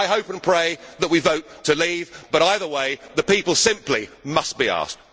not. I hope and pray that we vote to leave, but either way the people simply must be asked.